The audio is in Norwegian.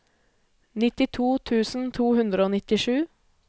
nittito tusen to hundre og nittisju